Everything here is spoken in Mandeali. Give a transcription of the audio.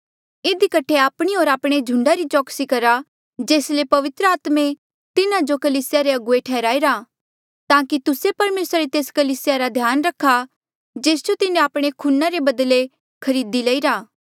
इधी कठे आपणी होर आपणे झुंडा री चौकसी करा जेस ले पवित्र आत्मे तिन्हा जो कलीसिया रे अगुवे ठैहराईरा ताकि तुस्से परमेसरा री तेस कलीसिया रा ध्यान रखा जेस जो तिन्हें आपणे खूना रे बदले खरदी लईरा था